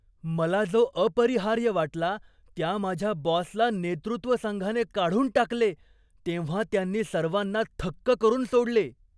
मला जो अपरिहार्य वाटला, त्या माझ्या बॉसला नेतृत्व संघाने काढून टाकले तेव्हा त्यांनी सर्वांना थक्क करून सोडले.